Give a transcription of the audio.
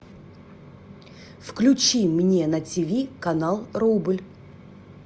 включи мне на тв канал рубль